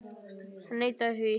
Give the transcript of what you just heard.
Hann neitaði því.